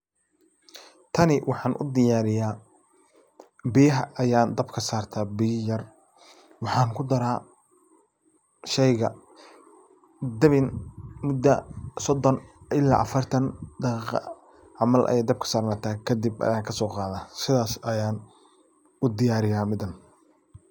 Tani waxaan u diyaariya biyaha ayan dabka sarta biya yar waxaan kudara shayga dabin muda sodan ila afartan daqiiqa camal ayay dabka sarnata kadib ayan kasoqaada sidas ayan u diyaariya midan.